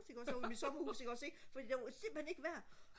ude i mit sommerhus ikke også ikke fordi det var simpelthen ikke vejr